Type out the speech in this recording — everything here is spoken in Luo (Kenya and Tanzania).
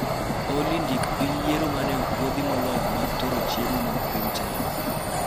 Olly ndik piny yiero maneopuodhi moloyo mag tero chiemo mag piny china